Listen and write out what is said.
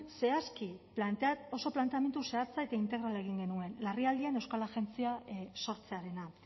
oso planteamendu zehatza eta integrala egin genuen larrialdian euskal agentzia sortzearena